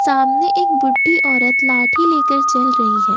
सामने एक बुड्ढी औरत लाठी लेकर चल रही है।